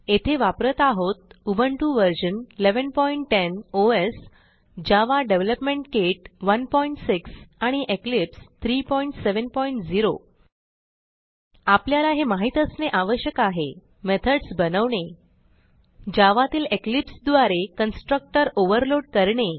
येथे वापरत आहोत Ubuntu version 1110 OS Java development kit 16 आणि इक्लिप्स 370 आपल्याला हे माहित असणे आवश्यक आहे मेथड्स बनवणे जावा तील इक्लिप्स द्वारे कन्स्ट्रक्टर ओव्हरलोड करणे